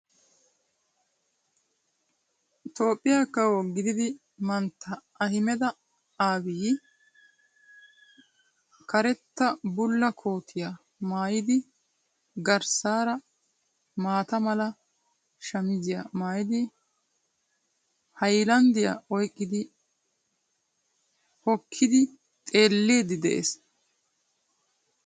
Toophphiya kawo gididi mantta Ahimeda Abiyyi karetta bulla kootiyaa maayidi garssaara maata mala shamiziyaa maayidi haylanddiya oyqqidi hokkidi xeelliiddi de'ees.